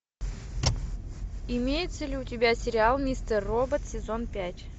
имеется ли у тебя сериал мистер робот сезон пять